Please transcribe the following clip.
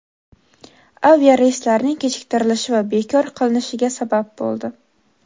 aviareyslarning kechiktirilishi va bekor qilinishiga sabab bo‘ldi.